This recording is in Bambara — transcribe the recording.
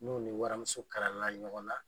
N'o ni waramuso kalala ɲɔgɔn na.